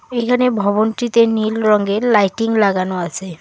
এখানে ভবনটিতে নীল রঙের লাইটিং লাগানো আছে।